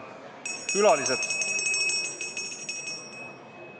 Külalised!